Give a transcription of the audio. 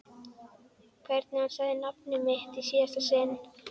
Hvernig hann sagði nafnið mitt í síðasta sinn.